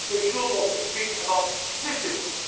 about growth. They should also speak about